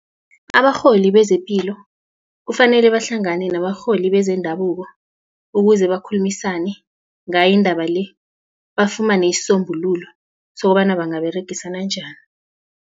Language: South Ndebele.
Abarholi bezepilo kufanele bahlangane nabarholi bezendabuko ukuze bakhulumisane ngayo indaba le bafumane isisombululo sokobana bangaberegisana njani.